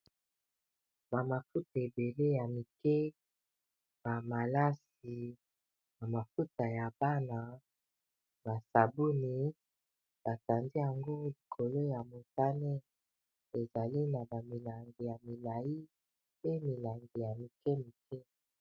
Ba mafuta ebele ya mike, ba malasi, ba mafuta ya bana, ba sabuni batandi yango likolo ya motane ezali na ba milangi ya milai pe milangi ya mike mike.